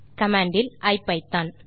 command இல் ஐபிதான்